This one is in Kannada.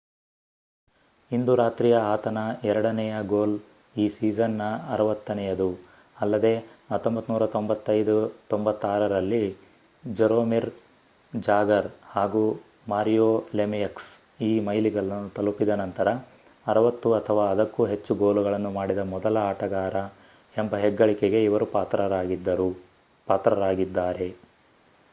ಇಂದು ರಾತ್ರಿಯ ಆತನ ಎರಡನೆಯ ಗೋಲ್ ಈ ಸೀಸನ್ ನ 60ನೆಯದು ಅಲ್ಲದೇ 1995 -96 ರಲ್ಲಿ ಜರೋಮಿರ್ ಜಾಗರ್ ಹಾಗೂ ಮಾರಿಯೋ ಲೆಮಿಯಕ್ಸ್ ಈ ಮೈಲಿಗಲ್ಲನ್ನು ತಲುಪಿದ ನಂತರ 60 ಅಥವಾ ಅದಕ್ಕೂ ಹೆಚ್ಚು ಗೋಲುಗಳನ್ನು ಮಾಡಿದ ಮೊದಲ ಆಟಗಾರ ಎಂಬ ಹೆಗ್ಗಳಿಕೆಗೆ ಇವರು ಪಾತ್ರರಾಗಿದ್ದಾರೆ